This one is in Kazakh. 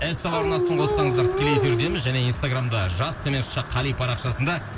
ств арнасын қоссаңыздар тікелей эфирдеміз және инстаграмда жас төмен сызықша қали парақшасында